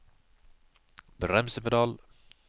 bremsepedal